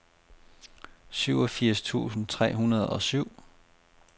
syvogfirs tusind tre hundrede og syv